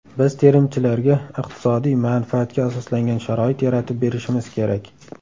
Biz terimchilarga iqtisodiy manfaatga asoslangan sharoit yaratib berishimiz kerak.